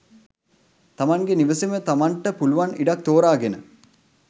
තමන්ගෙ නිවසෙම තමන්ට පුළුවන් ඉඩක් තෝරාගෙන